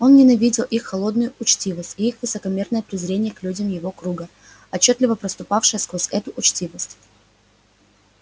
он ненавидел их холодную учтивость и их высокомерное презрение к людям его круга отчётливо проступавшее сквозь эту учтивость